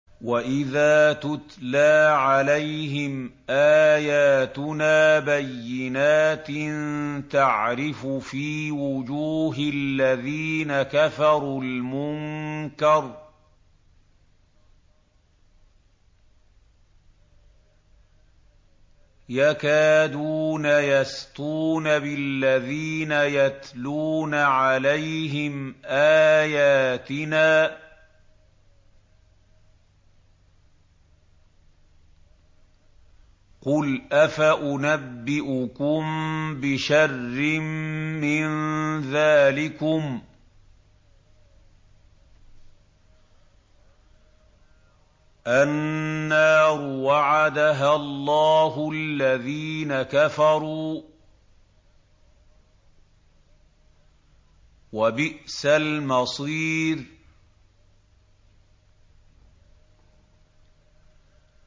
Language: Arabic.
وَإِذَا تُتْلَىٰ عَلَيْهِمْ آيَاتُنَا بَيِّنَاتٍ تَعْرِفُ فِي وُجُوهِ الَّذِينَ كَفَرُوا الْمُنكَرَ ۖ يَكَادُونَ يَسْطُونَ بِالَّذِينَ يَتْلُونَ عَلَيْهِمْ آيَاتِنَا ۗ قُلْ أَفَأُنَبِّئُكُم بِشَرٍّ مِّن ذَٰلِكُمُ ۗ النَّارُ وَعَدَهَا اللَّهُ الَّذِينَ كَفَرُوا ۖ وَبِئْسَ الْمَصِيرُ